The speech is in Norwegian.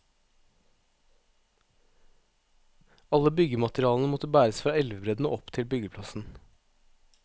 Alle byggematerialene måtte bæres fra elvebredden og opp til byggeplassen.